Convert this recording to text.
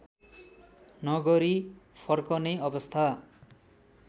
नगरी फर्कने अवस्था